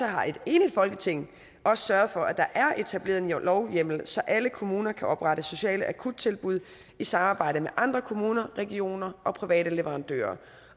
har et enigt folketing også sørget for at der er etableret en lovhjemmel så alle kommuner kan oprette sociale akuttilbud i samarbejde med andre kommuner regioner og private leverandører